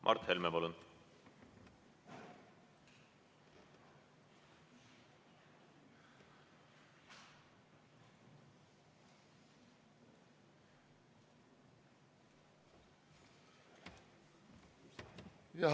Mart Helme, palun!